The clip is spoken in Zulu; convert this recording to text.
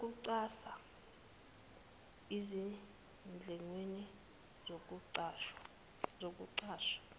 ukuxhasa ezindlekweni zokuqasha